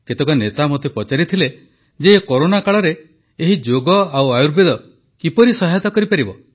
କେତେକ ନେତା ମୋତେ ପଚାରିଥିଲେ ଯେ ଏ କରୋନା କାଳରେ ଏହି ଯୋଗ ଓ ଆୟୁର୍ବେଦ କିପରି ସହାୟତା କରିପାରିବ